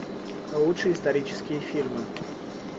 лучшие исторические фильмы